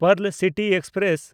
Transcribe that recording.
pearl City express